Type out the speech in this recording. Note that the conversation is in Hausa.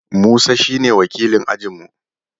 Musa shi ne wakilin ajin mu